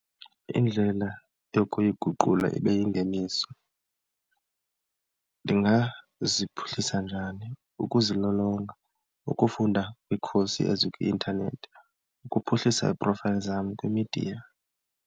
Indlela yokuyiguqula ibe yingeniso ndingaziphuhlisa njani? Ukuzilolonga, ukufunda kwii-course ezikwi-intanethi, ukuphuhlisa ii-profiles zam kwimidiya.